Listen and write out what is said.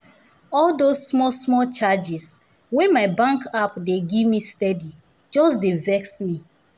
all those small small charges wey my bank app dey gimme steady just dey vex me